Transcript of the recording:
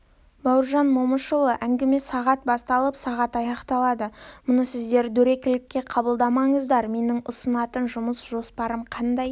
бауыржан момышұлы әңгіме сағат басталып сағат аяқталады мұны сіздер дөрекілікке қабылдамаңыздар менің ұсынатын жұмыс жоспарым қандай